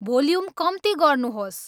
volume कम्ति गर्नुहोस्